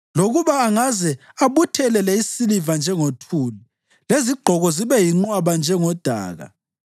Lokuba angaze abuthelele isiliva njengothuli lezigqoko zibe yinqwaba njengodaka,